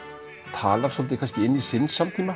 talar svolítið inn í sinn samtíma